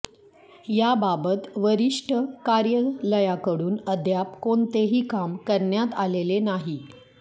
याबाबत वरिष्ठ कार्यालयाकडून अद्याप कोणतेही काम करण्यात आलेले नाही